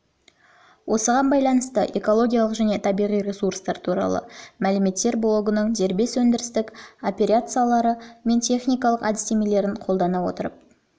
осыған байланысты экологиялық және табиғи ресурстар туралы мәліметтер блогының дербес өндірістік операциялары мен техникалық әдістемелерін қолдана отырып